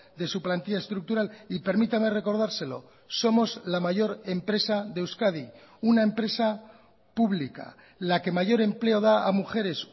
de su plantilla estructural y permítame recordárselo somos la mayor empresa de euskadi una empresa pública la que mayor empleo da a mujeres